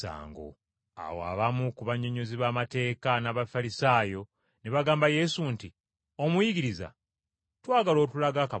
Awo abamu ku bannyonnyozi b’amateeka n’Abafalisaayo ne bagamba Yesu nti, “Omuyigiriza twagala otulage akabonero.”